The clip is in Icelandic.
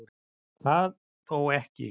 Það þó ekki